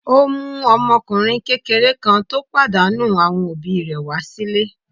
Ó mú ọmọkùnrin kékeré kan tó pàdánù àwọn òbí rẹ̀ wá sílé.